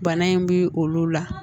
Bana in bi olu la